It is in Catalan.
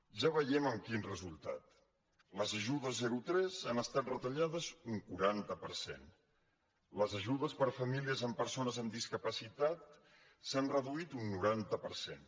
ja veiem amb quin resultat les ajudes zerotres han estat retallades un quaranta per cent les ajudes per a famílies amb persones amb discapacitat s’han reduït un noranta per cent